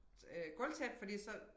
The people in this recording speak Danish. Øh gulvtæppe fordi så